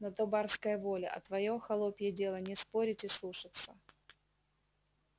на то барская воля а твоё холопье дело не спорить и слушаться